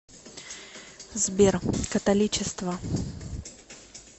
сбер католичество